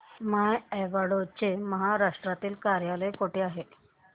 माय Advo चे महाराष्ट्रातील कार्यालय कुठे आहे